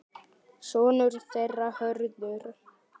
Sonur þeirra Hörður.